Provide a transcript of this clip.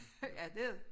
Ja det